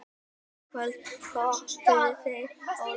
Í kvöld töpuðu þeir í Ólafsvík.